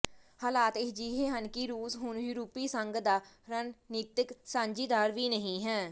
ਹਾਲਾਤ ਅਜਿਹੇ ਹਨ ਕਿ ਰੂਸ ਹੁਣ ਯੂਰਪੀ ਸੰਘ ਦਾ ਰਣਨੀਤਕ ਸਾਂਝੀਦਾਰ ਵੀ ਨਹੀਂ ਹੈ